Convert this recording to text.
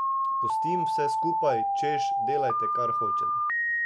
Pustim vse skupaj, češ, delajte, kar hočete.